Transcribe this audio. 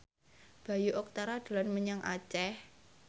Bayu Octara dolan menyang Aceh